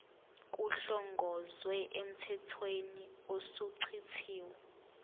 kuhlongozwe emthethweni osuchithiwe